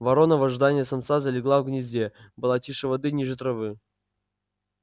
ворона в ожидании самца залегла в гнезде была тише воды ниже травы